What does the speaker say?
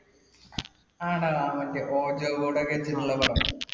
ആടാ. മറ്റേ ojo board ഒക്കെ വെച്ചിട്ടുള്ള പടമാണോ